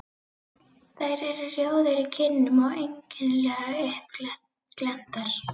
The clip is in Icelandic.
Þær eru rjóðar í kinnum og einkennilega uppglenntar.